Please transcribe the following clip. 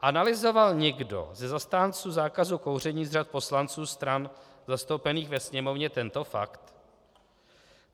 Analyzoval někdo ze zastánců zákazu kouření z řad poslanců stran zastoupených ve Sněmovně tento fakt?